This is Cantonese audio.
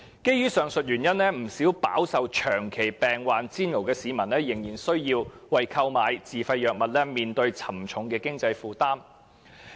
基於上述原因，不少飽受長期病患煎熬的市民仍須為購買自費藥物，面對沉重的經濟負擔。